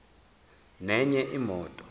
nenye imoto